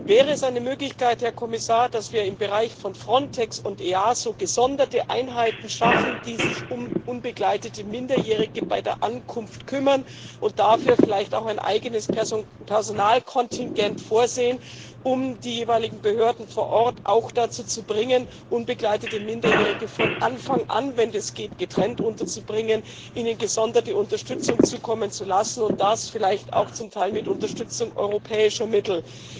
Wäre es eine Möglichkeit, Herr Kommissar, dass wir im Bereich von Frontex und EASO gesonderte Einheiten schaffen, die sich um unbegleitete Minderjährige bei der Ankunft kümmern, und dafür vielleicht auch ein eigenes Personalkontingent vorsehen, um die jeweiligen Behörden vor Ort auch dazu zu bringen, unbegleitete Minderjährige von Anfang an, wenn es geht, getrennt unterzubringen, ihnen gesonderte Unterstützung zukommen zu lassen, und das vielleicht auch zum Teil mit Unterstützung europäischer Mittel?